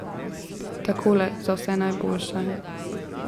Takole, za vse najboljše.